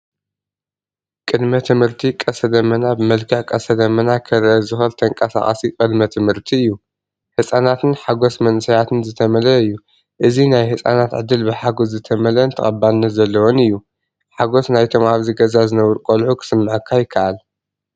ቅድመ ትምህርቲ ቀስተ ደመና ብመልክዕ ቀስተ ደመና ክርአ ዝኽእል ተንቀሳቓሲ ቅድመ ትምህርቲ እዩ። ህጻናትን ሓጎስ መንእሰያትን ዝተመልአ እዩ። እዚ ናይ ህጻናት ዕድል ብሓጎስ ዝተመልአን ተቐባልነት ዘለዎን እዩ። ሓጎስ ናይቶም ኣብዚ ገዛ ዝነብሩ ቈልዑ ክስመዓካ ይከኣል።